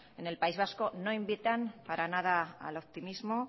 en el país vasco no invitan para nada al optimismo